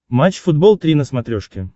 матч футбол три на смотрешке